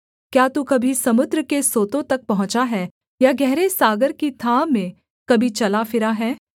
क्या तू कभी समुद्र के सोतों तक पहुँचा है या गहरे सागर की थाह में कभी चला फिरा है